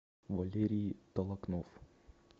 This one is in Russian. валерий толокнов